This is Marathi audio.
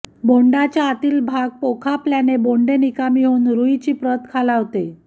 बोंडाच्या आतील भाग पोखापल्याने बोंडे निकामी होऊन रुईची प्रत खालावते